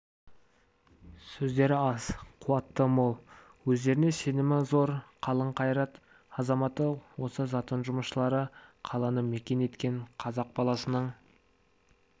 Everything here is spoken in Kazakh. сөздері аз қуаты мол өздеріне сенімі зор қалың қайрат азаматы осы затон жұмысшылары қаланы мекен еткен қазақ баласының